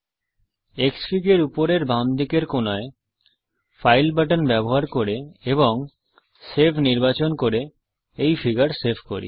Xfig এর উপরের বাম দিকে কোণায় ফাইল বাটন ব্যবহার করে এবং সেভ নির্বাচন করে এই ফিগার সেভ করি